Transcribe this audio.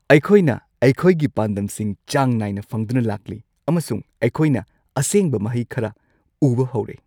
ꯑꯩꯈꯣꯏꯅ ꯑꯩꯈꯣꯏꯒꯤ ꯄꯥꯟꯗꯝꯁꯤꯡ ꯆꯥꯡ ꯅꯥꯏꯅ ꯐꯪꯗꯨꯅ ꯂꯥꯛꯂꯤ, ꯑꯃꯁꯨꯡ ꯑꯩꯈꯣꯏꯅ ꯑꯁꯦꯡꯕ ꯃꯍꯩ ꯈꯔ ꯎꯕ ꯍꯧꯔꯦ꯫